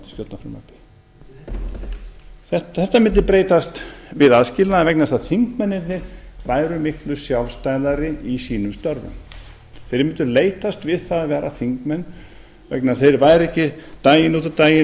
á viðkomandi stjórnarfrumvarpi þetta mundi breytast við aðskilnað vegna þess að þingmennirnir væru miklu sjálfstæðari í sínum störfum þeir mundu leitast við það að vera þingmenn vegna þess að þeir væru ekki daginn út og daginn